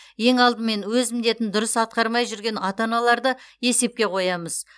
ең алдымен өз міндетін дұрыс атқармай жүрген ата аналарды есепқе қоямыз